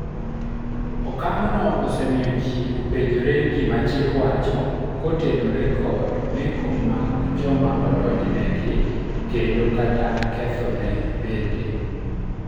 okang' no osemiyo jii openjore gima chik wacho kotenore kod meko mag joma odonjnegi kendo kata kethone bende